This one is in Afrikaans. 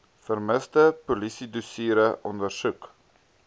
vermiste polisiedossiere ondersoek